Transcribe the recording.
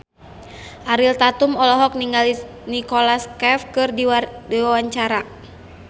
Ariel Tatum olohok ningali Nicholas Cafe keur diwawancara